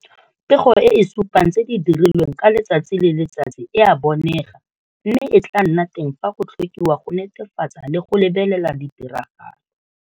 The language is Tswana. Pego e e supang tse di dirilweng ka letsatsi le letsatsi e a bonega mme e tla nna teng fa go tlhokiwa go netefatsa le go lebelela ditiragalo.